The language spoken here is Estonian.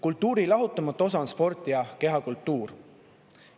Kultuuri lahutamatu osa on sport ja kehakultuur.